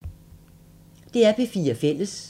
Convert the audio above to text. DR P4 Fælles